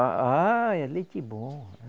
Ah, Ah, é leite bom.